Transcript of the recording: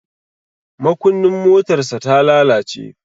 Makunnin motarsa ta lalace.